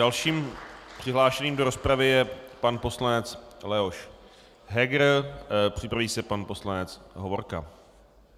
Dalším přihlášeným do rozpravy je pan poslanec Leoš Heger, připraví se pan poslanec Hovorka.